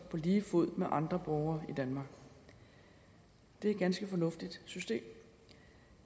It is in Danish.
på lige fod med andre borgere i danmark det er et ganske fornuftigt system